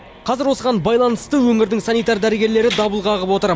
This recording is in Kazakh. қазір осыған байланысты өңірдің санитар дәрігерлері дабыл қағып отыр